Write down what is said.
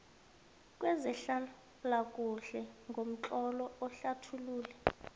kwezehlalakuhle ngomtlolo uhlathulule